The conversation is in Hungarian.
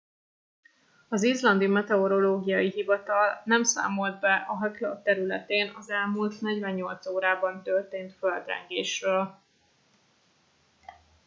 az izlandi meteorológiai hivatal nem számolt be a hekla területén az elmúlt 48 órában történt földrengésről